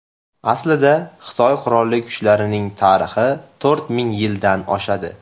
Aslida, Xitoy qurolli kuchlarining tarixi to‘rt ming yildan oshadi.